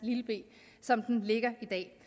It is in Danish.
b som den ligger i dag